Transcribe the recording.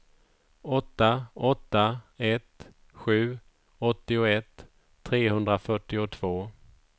åtta åtta ett sju åttioett trehundrafyrtiotvå